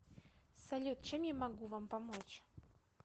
салют чем я могу вам помочь